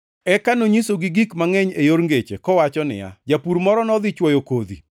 Eka nonyisogi gik mangʼeny e yor ngeche, kowacho niya, “Japur moro nodhi chwoyo kodhi.